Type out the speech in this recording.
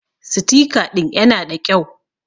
Sitika ɗin ƴana ɗa ƙyau.